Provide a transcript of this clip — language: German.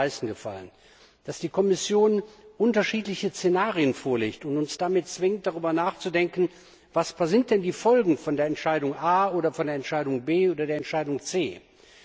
Das hat mir am meisten gefallen. Dass die Kommission unterschiedliche Szenarien vorlegt und uns damit zwingt, darüber nachzudenken, was denn die Folgen von Entscheidung A oder von Entscheidung B oder von Entscheidung C sind.